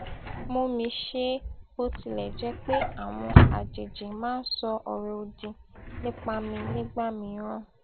mú mi ṣe é bó tilẹ jẹ pé àwọn àjèjì máa ń sọ ọrọ òdì nípa mi nígbà mìíràn